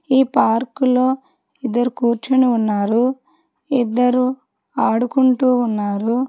ఈ పార్కులో ఇద్దరు కూర్చొని ఉన్నారు ఇద్దరు ఆడుకుంటూ ఉన్నారు.